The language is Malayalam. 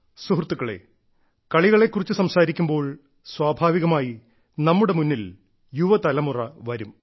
സുഹൃത്തുക്കളെ കളികളെ കുറിച്ച് സംസാരിക്കുമ്പോൾ സ്വാഭാവികമായി നമ്മുടെ മുന്നിൽ യുവതലമുറ വരും